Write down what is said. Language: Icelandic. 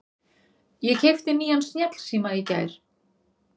Ég keypti nýjan snjallsíma í gær.